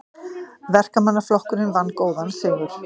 Verkamannaflokkurinn vann góðan sigur